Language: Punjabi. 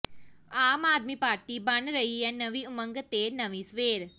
ਆਮ ਆਦਮੀ ਪਾਰਟੀ ਬਣ ਰਹੀ ਹੈ ਨਵੀਂ ਉਮੰਗ ਤੇ ਨਵੀਂ ਸਵੇਰ